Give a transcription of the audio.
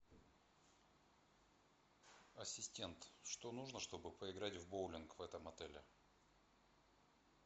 ассистент что нужно чтобы поиграть в боулинг в этом отеле